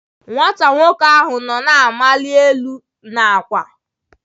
Nwata nwoke ahụ nọ na-amali n'elu akwa.